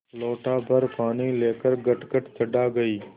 लोटाभर पानी लेकर गटगट चढ़ा गई